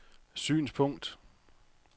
synspunkt